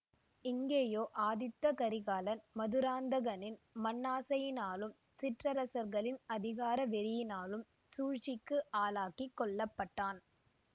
இங்கேயோ ஆதித்த கரிகாலன் மதுராந்தகனின் மண்ணாசையினாலும் சிற்றரசர்களின் அதிகார வெறியினாலும் சூழ்ச்சிக்கு ஆளாகி கொல்ல பட்டான்